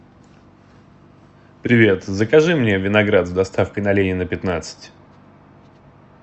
привет закажи мне виноград с доставкой на ленина пятнадцать